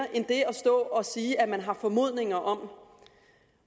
stå og sige at man har formodninger om